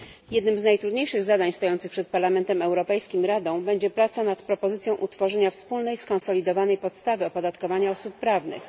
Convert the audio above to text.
Jednym z najtrudniejszych zadań stojących przed Parlamentem Europejskim i Radą będzie praca nad propozycją utworzenia wspólnej, skonsolidowanej podstawy opodatkowania osób prawnych.